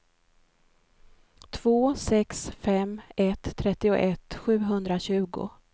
två sex fem ett trettioett sjuhundratjugo